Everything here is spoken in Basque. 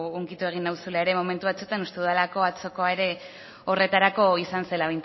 hunkitu egin nauzula momentu batzuetan uste dudalako atzokoa ere horretarako izan zela